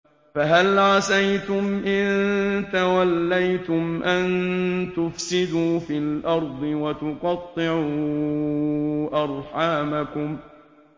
فَهَلْ عَسَيْتُمْ إِن تَوَلَّيْتُمْ أَن تُفْسِدُوا فِي الْأَرْضِ وَتُقَطِّعُوا أَرْحَامَكُمْ